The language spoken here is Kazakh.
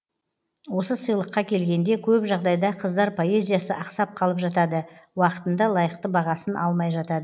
осы сыйлыққа келгенде көп жағдайда қыздар поэзиясы ақсап қалып жатады уақытында лайықты бағасын алмай жатады